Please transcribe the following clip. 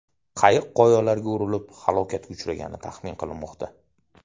Qayiq qoyalarga urilib halokatga uchragani taxmin qilinmoqda.